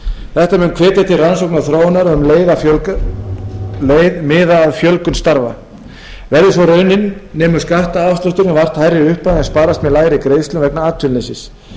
þetta mun hvetja til rannsókna og þróunar og um um leið miða að fjölgun starfa verði sú raunin nemur skattafslátturinn vart hærri upphæð en sparast með lægri greiðslum vegna atvinnuleysis